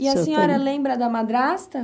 E a senhora lembra da madrasta?